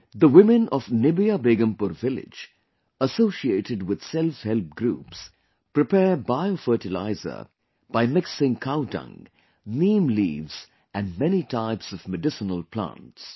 The women of Nibiya Begumpur village, associated with selfhelp groups, prepare biofertilizer by mixing cow dung, neem leaves and many types of medicinal plants